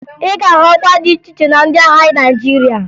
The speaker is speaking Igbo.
Ị ga-ahụ ọkwa dị iche iche na ndị agha Naịjirịa